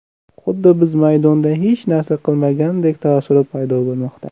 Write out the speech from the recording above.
Xuddi biz maydonda hech narsa qilmagandek taassurot paydo bo‘lmoqda.